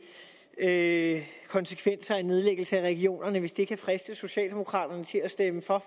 at konsekvenser af en nedlæggelse af regionerne hvis det kan friste socialdemokraterne til at stemme for